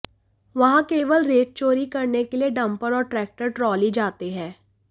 वहां केवल रेत चोरी करने के लिए डंपर और ट्रैक्टर ट्रॉली जाते हैं